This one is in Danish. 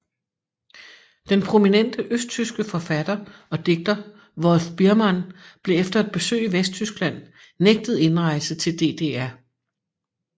Den prominente østtyske forfatter og digter Wolf Biermann blev efter et besøg i Vesttyskland nægtet indrejse til DDR